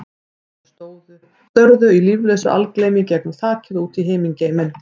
Augun störðu í líflausu algleymi í gegnum þakið og út í himingeiminn.